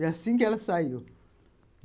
E assim que ela saiu.